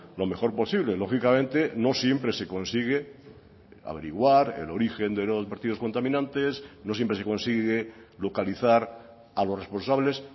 lo mejor posible lógicamente no siempre se consigue averiguar el origen de los vertidos contaminantes no siempre se consigue localizar a los responsables